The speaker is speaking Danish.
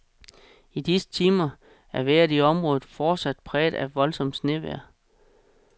I disse timer er vejret i området fortsat præget af voldsomt snevejr.